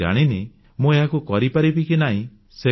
ମୁଁ ଜାଣିନି ମୁଁ ଏହାକୁ କରିପାରିବି କି ନାହିଁ